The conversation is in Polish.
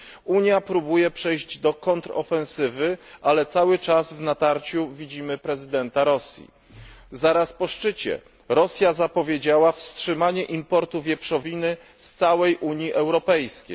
Unia próbuje przejść do kontrofensywy, ale cały czas w natarciu widzimy prezydenta Rosji. Zaraz po szczycie Rosja zapowiedziała wstrzymanie importu wieprzowiny z całej Unii Europejskiej.